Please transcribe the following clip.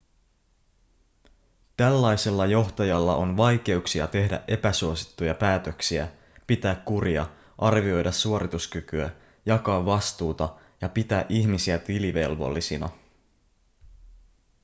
tällaisella johtajalla on vaikeuksia tehdä epäsuosittuja päätöksiä pitää kuria arvioida suorituskykyä jakaa vastuuta ja pitää ihmisiä tilivelvollisina